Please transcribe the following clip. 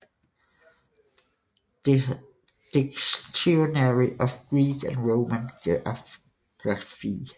Dictionary of Greek and Roman Geography